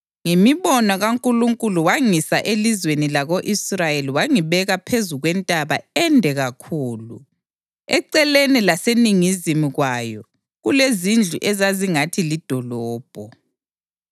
Ngemibono kaNkulunkulu wangisa elizweni lako-Israyeli wangibeka phezu kwentaba ende kakhulu, eceleni langaseningizimu kwayo kulezindlu ezazingathi lidolobho.